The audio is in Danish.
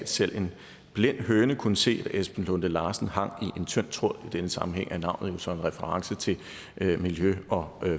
selv en blind høne kunne se at esben lunde larsen hang i en tynd tråd i denne sammenhæng er navnet jo så en reference til miljø og